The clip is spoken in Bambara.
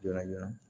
Joona joona